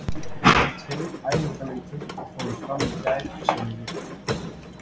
Tveir æfingaleikir fóru fram í gær sem við vitum.